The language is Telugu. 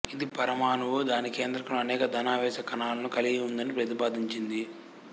ఇది పరమాణువు దాని కేంద్రకంలో అనేక ధనావేశ కణాలను కలిగి ఉందని ప్రతిపాదించింది